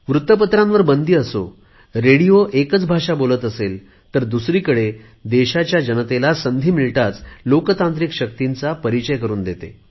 वृत्तपत्रांवर बंदी असो रेडिओ एकच भाषा बोलत असेल तर दुसरीकडे देशातील जनतेला संधी मिळताच लोकशाहीवादी शक्तींचा परिचय करुन देते